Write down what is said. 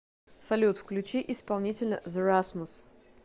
салют включи исполнителя зе расмус